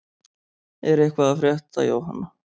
Er eitthvað að frétta Jóhanna?